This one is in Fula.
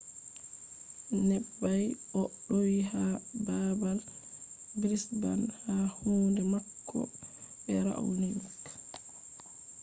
neɓɓay o do’i ha baabal brisbane ha kunde mako be raonic